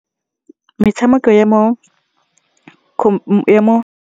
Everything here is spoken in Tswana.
Metshamekong ya mo .